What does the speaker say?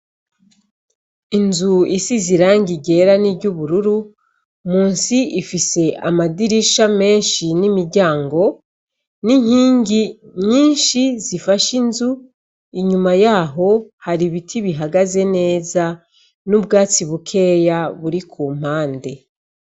Inzu isi ziranga igera n'iryo ubururu mu nsi ifise amadirisha menshi n'imiryango n'inkingi nyinshi zifashe inzu inyuma yaho hari ibiti bihagaze neza n'ubwatsi bukeya buri ku mpande.